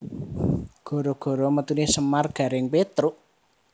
Gara gara metune Semar Gareng Petruk